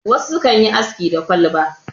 wasu sukan yi aski da kwalba